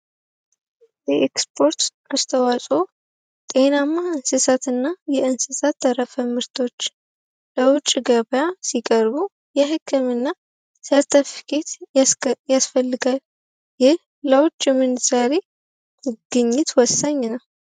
የኤክስፐርት አስተዋጽኦ ጤና የእንስሳት ተረፈ ምርቶች ገበያ ሲቀርቡ የህክምና ያስፈልጋል ለውጭ ምንዛሪ ግኝት ወሳኝ ነው።